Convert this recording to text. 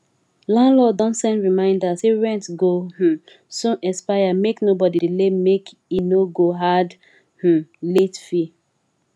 landlord don send reminder say rent go um soon expire make nobody delay make e no go add um late fee